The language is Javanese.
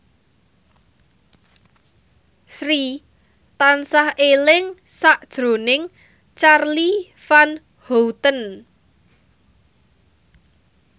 Sri tansah eling sakjroning Charly Van Houten